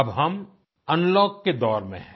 अब हम अनलॉक के दौर में हैं